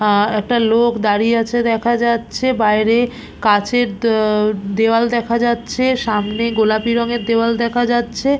আ একটা লোক দাঁড়িয়ে আছে দেখা যাচ্ছে বাইরে কাঁচের দে- দেয়াল দেখা যাচ্ছে সামনে গোলাপি রঙের দেওয়াল দেখা যাচ্ছে।